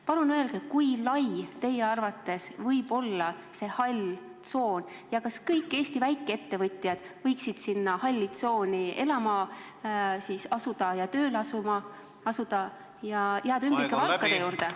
Palun öelge, kui lai teie arvates võib olla see hall tsoon ja kas kõik Eesti väikeettevõtjad võiksid sinna halli tsooni elama asuda ja seal tööle hakata ja jääda ümbrikupalkade juurde.